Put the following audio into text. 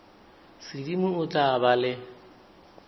sedimo o tla ba le